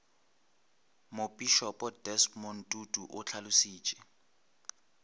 mopišopo desmond tutu o hlalošitše